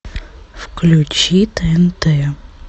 включи тнт